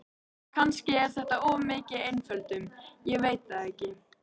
Kannski er þetta of mikil einföldun, ég veit það ekki.